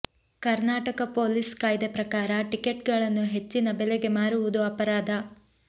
Karnataka police ಕಾಯ್ದೆ ಪ್ರಕಾರ ಟಿಕೆಟ್ಗಳನ್ನು ಹೆಚ್ಚಿನ ಬೆಲೆಗೆ ಮಾರುವುದು ಅಪರಾಧ